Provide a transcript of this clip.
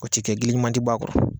O ti kɛ gili ɲuman ti bɔ a kɔrɔ.